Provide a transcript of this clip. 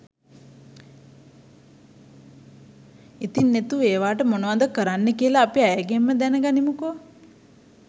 ඉතිං නෙතු ඒවාට මොනව ද කරන්නේ කියලා අපි ඇයගෙන්ම දැන ගනිමුකෝ